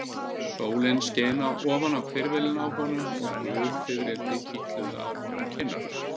Sólin skein ofan á hvirfilinn á honum og gul fiðrildi kitluðu á honum kinnarnar.